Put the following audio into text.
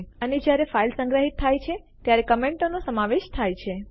અને જ્યારે ફાઈલ સંગ્રહિત થાય છે ત્યારે કમેન્ટો ટિપ્પણીઓ નો સમાવેશ થાય છે